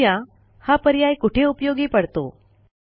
बघू या हा पर्याय कोठे उपयोगी पडतो